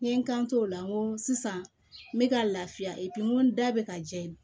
N ye n kan to o la n ko sisan n bɛ ka lafiya n ko n da bɛ ka jɛn ye